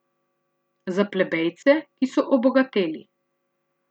Za plebejce, ki so obogateli.